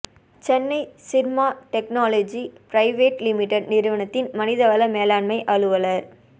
Chennai Syrma technology private limited நிறுவனத்தின் மனித வள மேலாண்மை அலுவலர்